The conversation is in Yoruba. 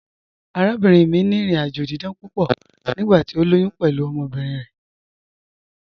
Àràbìnrin mi ni ìrìn-àjọ̀ dídán púpọ̀ nígbàtí o lóyún pẹ̀lú ọmọbirin rẹ.